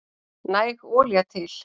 Næg olía til